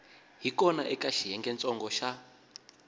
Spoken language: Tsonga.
hi kona eka xiyengentsongo xa